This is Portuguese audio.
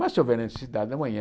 Mas se houver necessidade, amanhã